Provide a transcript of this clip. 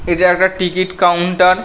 এটা একটা ticket counter.